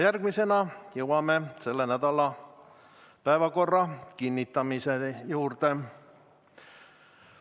Järgmisena jõuame selle nädala päevakorra kinnitamise juurde.